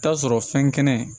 Taa sɔrɔ fɛn kɛnɛ